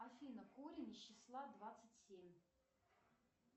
афина корень числа двадцать семь